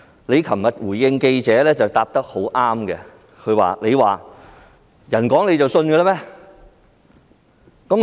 你昨天回應記者時答得很好，你說："人講你就信嗎？